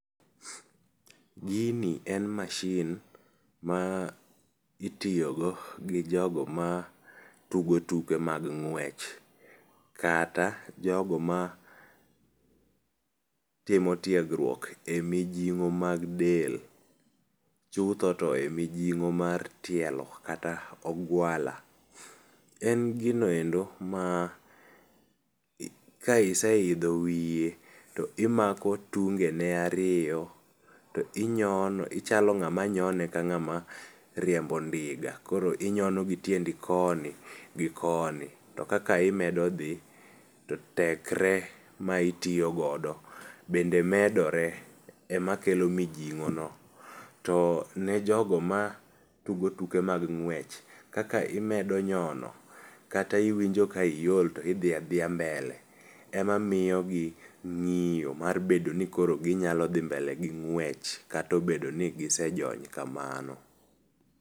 Gini en mashin ma itiyogo gi jogo ma tugo tuke mag ng'wech kata jogo matimo tiegruok e mijing'o mag del, chutho to e mijing'o mar tielo kata ogwala. En gino endo ma ka iseidho wiye, to imako tungene ariyo, to inyo ichalo ng'ama nyone ka ng'ama riembo ndiga koro inyono gitiendi koni gi koni to kaka imedo dhi to tekre ma itiyo godo bende medore emakelo mijing'ono. To ne jogo ma tugo tuke mag ng'wech kaka imedo nyono kata iwinjo ka iol to idhi nadhiya mbele ema miyogi ng‘iyo mar bedo nikoro ginyalo dhi mbele gi ng'wech katobedo ni gisejony kamano.